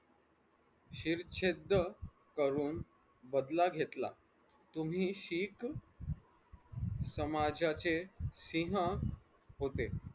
शिरछेदद करून बदला घेतला तुम्ही शीख समाजाचे सिंह होते.